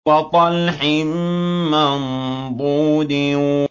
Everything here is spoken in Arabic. وَطَلْحٍ مَّنضُودٍ